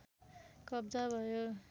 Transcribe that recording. कब्जा भयो